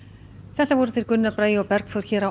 þetta voru þeir Gunnar Bragi og Bergþór hér